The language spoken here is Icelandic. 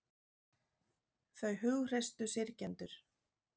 Þau hughreystu syrgjendur